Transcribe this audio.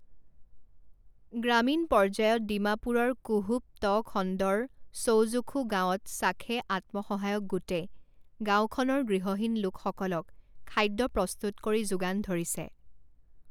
গ্ৰামীণ পৰ্যায়ত ডিমাপুৰৰ কুহুব ট খণ্ডৰ ছৌজুখু গাওঁত ছাখে আত্মসহায়ক গোটে গাওঁখনৰ গৃহহীন লোকসকলক খাদ্য প্ৰস্তুত কৰি যোগান ধৰিছে।